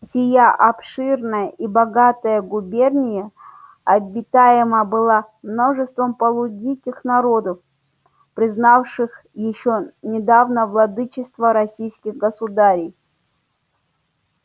сия обширная и богатая губерния обитаема была множеством полудиких народов признавших ещё недавно владычество российских государей